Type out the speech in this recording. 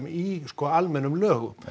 í sko almennum lögum